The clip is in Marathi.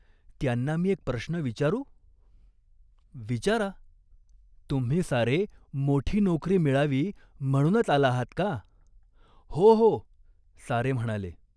त्यांना मी एक प्रश्न विचारू ?" "विचारा." "तुम्ही सारे मोठी नोकरी मिळावी म्हणूनच आला आहात का ?" "हो, हो !" सारे म्हणाले.